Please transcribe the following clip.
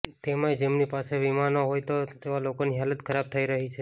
તેમાંય જેમની પાસે વીમો ના હોય તેવા લોકોની હાલત ખરાબ થઈ રહી છે